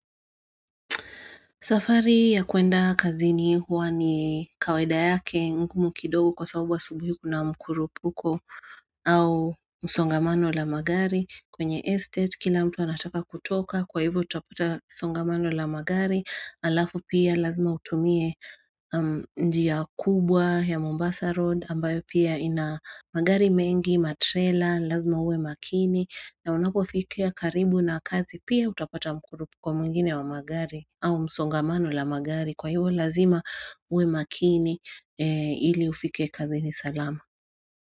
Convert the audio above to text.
Safari ya kwenda kazini huwa ni kawaida yake ngumu kidogo kwa sababu subuhi kuna mkurupuko au msongamano la magari kwenye estate kila mtu anataka kutoka kwa hivyo utapata msongamano la magari alafu pia lazima utumie njia kubwa ya Mombasa Road ambayo pia ina magari mengi matrela lazima uwe makini na unapofikia karibu na kazi pia utapata mkurupuko mwingine wa magari au msongamano la magari kwa hiyo lazima uwe makini ili ufike kazini salama.